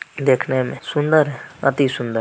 -- देखने मे सुंदर है अति सुंदर--